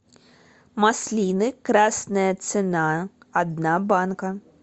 маслины красная цена одна банка